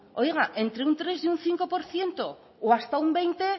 oiga entre un tres y un cinco por ciento o hasta un veinte